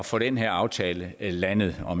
få den her aftale landet og